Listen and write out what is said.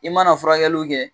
I mana furakɛliw kɛ.